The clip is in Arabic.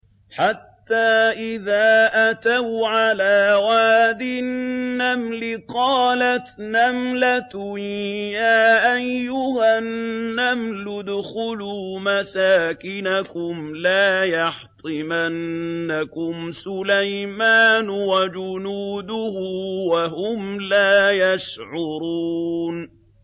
حَتَّىٰ إِذَا أَتَوْا عَلَىٰ وَادِ النَّمْلِ قَالَتْ نَمْلَةٌ يَا أَيُّهَا النَّمْلُ ادْخُلُوا مَسَاكِنَكُمْ لَا يَحْطِمَنَّكُمْ سُلَيْمَانُ وَجُنُودُهُ وَهُمْ لَا يَشْعُرُونَ